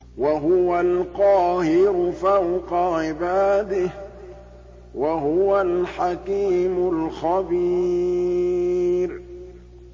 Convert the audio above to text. وَهُوَ الْقَاهِرُ فَوْقَ عِبَادِهِ ۚ وَهُوَ الْحَكِيمُ الْخَبِيرُ